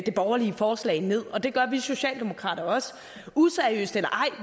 det borgerlige forslag ned og det gør vi socialdemokrater også useriøst eller ej